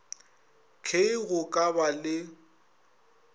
k go ka ba le